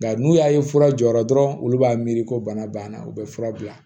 Nka n'u y'a ye fura jɔra dɔrɔn olu b'a miiri ko bana o bɛ fura bila